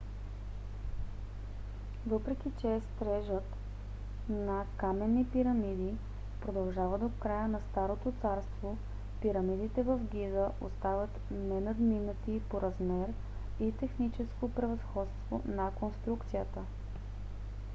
въпреки че стрежът на каменни пирамиди продължава до края на старото царство пирамидите в гиза остават ненадминати по размер и техническо превъзходство на конструкцията